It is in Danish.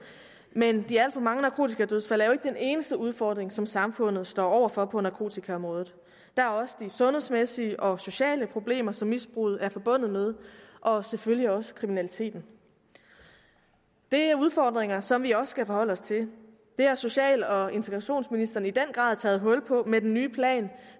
men de alt for mange narkotikadødsfald er jo ikke den eneste udfordring som samfundet står over for på narkotikaområdet der er også de sundhedsmæssige og sociale problemer som misbruget er forbundet med og selvfølgelig også kriminaliteten det er udfordringer som vi også skal forholde os til det har social og integrationsministeren i den grad taget hul på med den nye plan